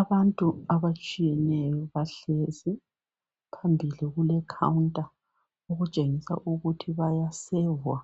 Abantu abatshiyenayo bahlezi. Phambili kulekhawunta, okutshengisa ukuthi bayasevwa